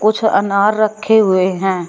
कुछ अनार रखे हुए हैं।